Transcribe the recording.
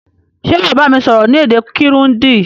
Sé wàá bámi sọ́rọ́ ni èdè Kirundi